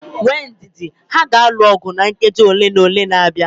Nwee ndidi, ha ga-alụ ọgụ na nkeji ole na ole na-abịa